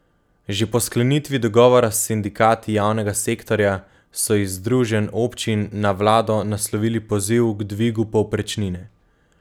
Že po sklenitvi dogovora s sindikati javnega sektorja so iz združenj občin na vlado naslovili poziv k dvigu povprečnine.